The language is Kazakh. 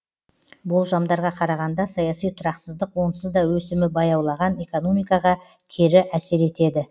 болжамдарға қарағанда саяси тұрақсыздық онсызда өсімі баяулаған экономикаға кері әсер етеді